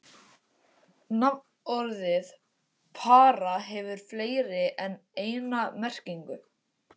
Nafnorðið para hefur fleiri en eina merkingu.